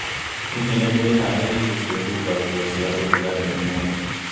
Hihi nĩ ndĩharĩirie kwĩhumba nguo cia ũrugarĩ ũmũthĩ